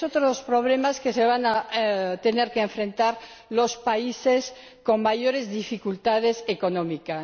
Es otro de los problemas a los que se van a tener que enfrentar los países con mayores dificultades económicas.